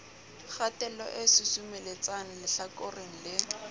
kgatello e susumeletsang lehlakoreng le